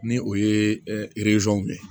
Ni o ye